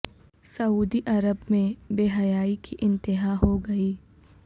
سعودی عرب میں بے حیائی کی انتہا ہو گئی